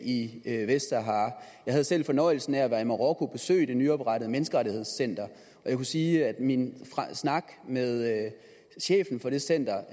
i vestsahara jeg havde selv fornøjelsen af at være i marokko og besøge det nyoprettede menneskerettighedscenter og jeg kan sige at min snak med chefen for det center